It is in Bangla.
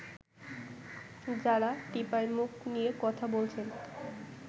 যাঁরা টিপাইমুখ নিয়ে কথা বলছেন